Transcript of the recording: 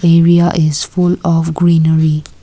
area is full of greenery.